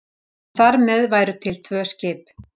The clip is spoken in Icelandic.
Þar með væru til tvö skip.